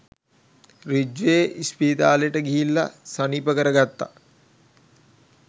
Ridgeway ඉස්පිරිතාලෙට ගිහිල්ල සනීප කර ගත්තා.